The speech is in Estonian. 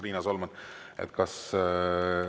Riina Solman, kas teid mainiti selles kõnes?